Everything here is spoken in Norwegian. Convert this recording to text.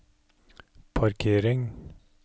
parkering